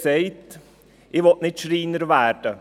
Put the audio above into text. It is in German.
Sie sagte: «Ich will nicht Schreiner werden.»